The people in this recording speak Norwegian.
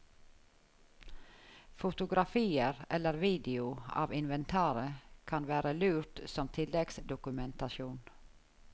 Fotografier eller video av inventaret kan være lurt som tilleggsdokumentasjon.